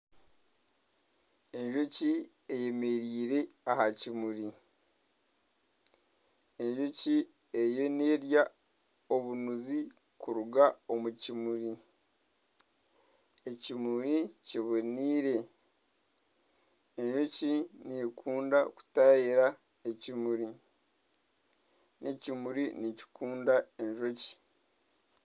Enjoki eyemereire aha kimuri, enjoki eriyo nirya obunuzi kuruga omu kimuri, ekimuri kibonire enjoki nekunda kutayaayira ekimuri, ekimuri nikikundwa enjoki.